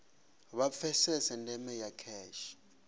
vha pfesese ndeme ya kheshe